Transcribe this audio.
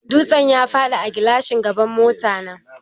Dutsen ya faɗi a gilashin gaban mota na